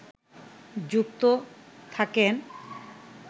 যুক্ত থাকেন